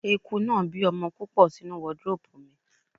Eku náà bí ọmọ púpọ̀ sínú wọdróòpù mi.